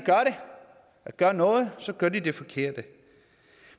gør noget gør de det forkerte